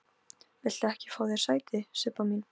Viltu ekki fá þér sæti, Sibba mín?